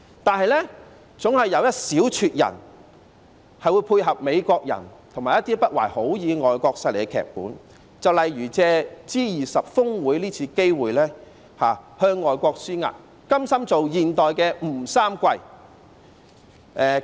但是，總有一小撮人會配合美國人和一些不懷好意的外國勢力的劇本，例如藉着 G20 峰會這次機會向外國施壓，甘心當現代吳三桂。